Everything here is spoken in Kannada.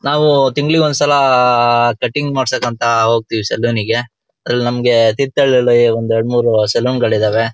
ನಾವು ತಿಂಗಳಿಗೆ ಒಂದ್ ಸಲಾ ಆಅ ಕಟಿಂಗ್ ಮಾಡಿಸೋಕ್ಕೆ ಅಂತ ಹೋಗ್ತಿವಿ ಸಲೋನಿಗೆ ಅಲ್ಲಿ ನಮ್ಗೆ ತೀರ್ಥಹಳ್ಳಿ ಒಂದ್ ಎರಡುಮೂರು ಸಲೂನ್ ಗಳು ಇದಾವೆ.